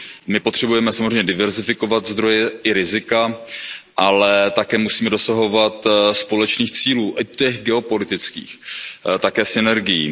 My potřebujeme samozřejmě diverzifikovat zdroje i rizika, ale také musíme dosahovat společných cílů, i těch geopolitických, jako i synergií.